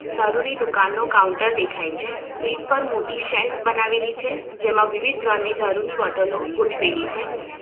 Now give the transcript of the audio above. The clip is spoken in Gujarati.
દારૂની દુકાનનો કાઉન્ટર દેખાય છે ભીંત પર મોટી સેલ્ફ બનાવેલી છે જેમાં વિવિધ બ્રાન્ડ ની દારૂની બોટલો ગોઠવેલી છે.